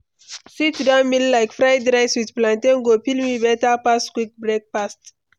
Sit-down meal like fried rice with plantain go fill me better pass quick breakfast.